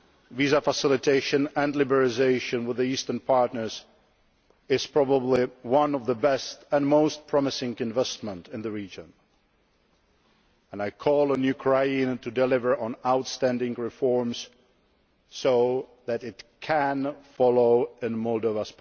Visa facilitation and liberalisation with the Eastern partners is probably one of the best and most promising investments in the region and I call on Ukraine to deliver on outstanding reforms so that it can follow in Moldova's